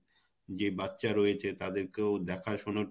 যে বাচ্চা রয়েছে তাদেরকেও দেখা শোনা শোনার